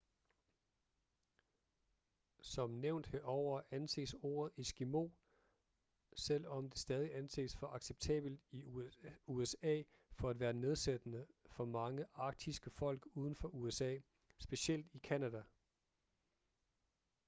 som nævnt herover anses ordet eskimo selvom det stadig anses for acceptabelt i usa for at være nedsættende for mange arktiske folk uden for usa specielt i canada